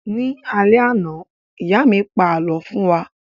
Ní alẹ́ àná, ìyá mí pa àlọ́ fún wa